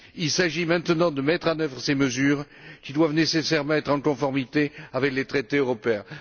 Il s'agit maintenant de mettre en œuvre ces mesures qui doivent nécessairement être en conformité avec les traités européens.